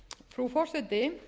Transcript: frú forseti